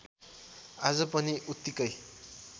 आज पनि उत्तिकै